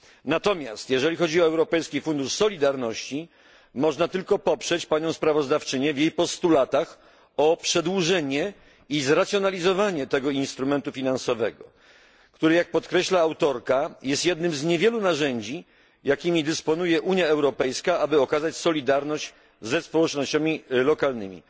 Natomiast jeżeli chodzi o Europejski Fundusz Solidarności, można tylko poprzeć sprawozdawczynię w jej postulatach o przedłużenie i zracjonalizowanie tego instrumentu finansowego, który, jak podkreśla autorka, jest jednym z niewielu narzędzi, jakimi dysponuje Unia Europejska, aby okazać solidarność ze społecznościami lokalnymi.